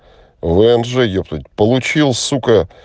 вмж ептать получил сука